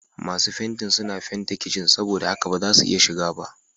Masu fentin suna fente kicin saboda haka ba zamu iya shiga ba.